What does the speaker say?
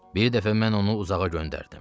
Bir dəfə mən onu uzağa göndərdim.